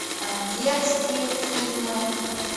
детские фильмы